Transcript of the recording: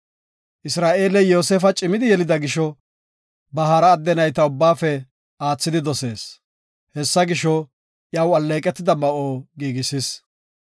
Isra7eeley Yoosefa cimidi yelida gisho, ba hara adde nayta ubbaafe aathidi dosees. Hessa gisho, iyaw alleeqetida ma7o giigisis.